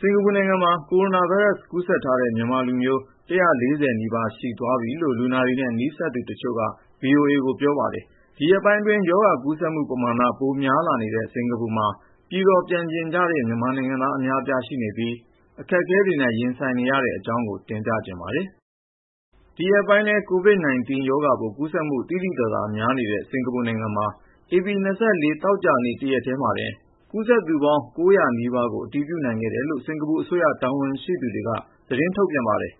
စင်္ကာပူနိုင်ငံမှာ ကိုရိုနာဗိုင်းရပ်စ် ကူးစက်ထားတဲ့ မြန်မာလူမျိုး (၁၄၀)နီးပါး ရှိသွားပြီလို့ လူနာတွေနဲ့ နီးစပ်သူတချို့က VOA ကို ပြောပါတယ်။ ဒီရက်ပိုင်းအတွင်း ရောဂါကူးစက်မှုပမာဏ ပိုများလာနေတဲ့ စင်္ကာပူမှာ ပြည်တော် ပြန်ချင်ကြတဲ့ မြန်မာနိုင်ငံသား အများအပြားရှိနေပြီး အခက်အခဲတွေနဲ့ ရင်ဆိုင် နေရတဲ့ အကြောင်းကို ကိုဉာဏ်ဝင်းအောင် တင်ပြထားပါတယ်။ ဒီရက်ပိုင်းထဲ COVID-19 ရောဂါပိုး ကူးစက်မှု သိသိသာသာ များနေတဲ့ စင်္ကာပူနိုင်ငံမှာ ဧပြီ ၂၄သောကြာနေ့ တရက်ထဲမှာတင် ကူးစက်သူပေါင်း (၉၀၀) နီးပါးကို အတည်ပြုနိုင်ခဲ့တယ်လို့ စင်္ကာပူအစိုးရ တာဝန်ရှိသူတွေက သတင်းထုတ်ပြန်ပါတယ်။